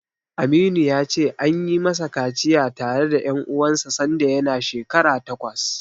Aminu ya ce, an yi masa kaciya tare da ƴan uwansa sanda yana shekara takwas.